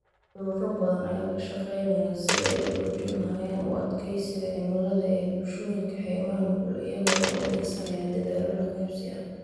Ururo badan ayaa ka shaqeynaya sidii ay u xoojin lahaayeen u adkeysiga cimilada ee bulshooyinka xeebaha nugul iyaga oo adeegsanaya dadaallo la qabsi ah.